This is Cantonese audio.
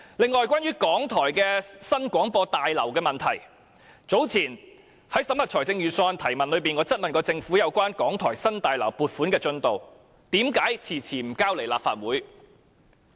此外，關於港台的新廣播大樓，早前在審核預算案的提問中，我質問政府有關港台新大樓的撥款進度，為何遲遲不提交立法會。